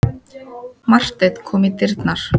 Marteinn kom í dyrnar.